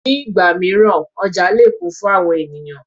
Ní ìgbà mìíràn oja lè kún fún àwọn ènìyàn.